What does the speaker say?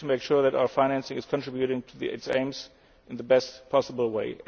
behind. We need to make sure that our financing is contributing to its aims in the best possible